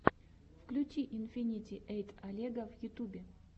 включи инфинити эйт олега в ютьюбе